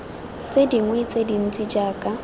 tse dingwe tse dintsi jaaka